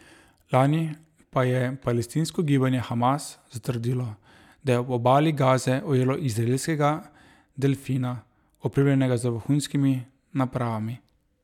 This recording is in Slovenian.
Lani pa je palestinsko gibanje Hamas zatrdilo, da je ob obali Gaze ujelo izraelskega delfina, opremljenega z vohunskimi napravami.